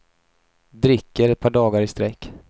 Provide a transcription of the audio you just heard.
Dricker ett par dagar i sträck.